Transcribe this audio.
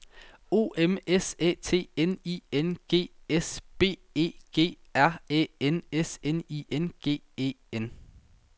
O M S Æ T N I N G S B E G R Æ N S N I N G E N